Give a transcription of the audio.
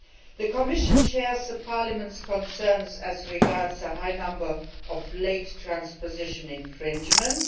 The Commission shares the Parliament's concerns as regards the high number of late transposition infringements.